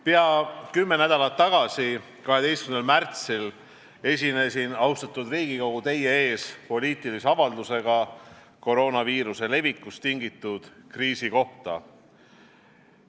Peaaegu kümme nädalat tagasi, 12. märtsil esinesin, austatud Riigikogu, teie ees poliitilise avaldusega koroonaviiruse levikust tingitud kriisi kohta.